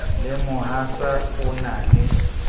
le mohatsa o na le